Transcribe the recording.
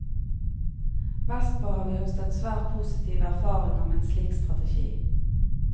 Vestpå har vi høstet svært positive erfaringer med en slik strategi.